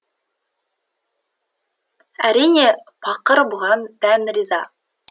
әрине пақыр бұған дән риза